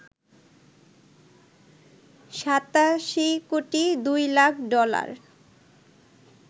৮৭ crore ২ lakh dollar